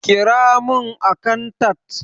Ƙira mun akantat!